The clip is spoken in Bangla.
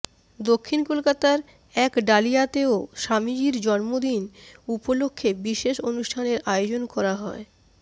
দক্ষিণ কলকাতার একডালিয়াতেও স্বামীজির জন্মদিন উপলক্ষে বিশেষ অনুষ্ঠানের আয়োজন করা হয়